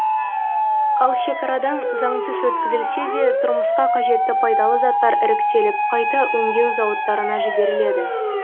ал шекарадан заңсыз өткізілсе де тұрмысқа қажетті пайдалы заттар іріктеліп қайта өңдеу зауыттарына жіберіледі